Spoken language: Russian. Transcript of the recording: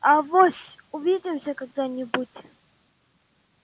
авось увидимся когда-нибудь